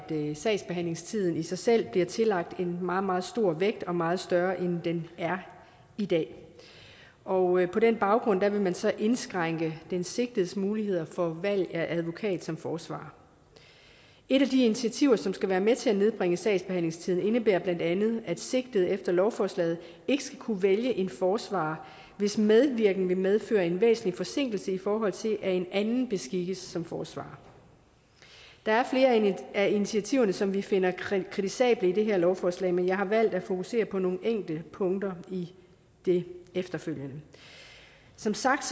sagsbehandlingstiden i sig selv bliver tillagt en meget meget stor vægt meget større end den er i dag og på den baggrund vil man så indskrænke den sigtedes muligheder for valg af advokat som forsvarer et af de initiativer som skal være med til at nedbringe sagsbehandlingstiden indebærer bla at at sigtede efter lovforslaget ikke skal kunne vælge en forsvarer hvis medvirken vil medføre en væsentlig forsinkelse i forhold til at en anden beskikkes som forsvarer der er flere af initiativerne som vi finder kritisable i det her lovforslag men jeg har valgt at fokusere på nogle enkelte punkter i det efterfølgende som sagt